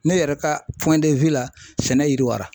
Ne yɛrɛ ka la sɛnɛ yiriwara .